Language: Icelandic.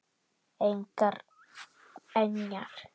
Engjar voru með ýmsum hætti.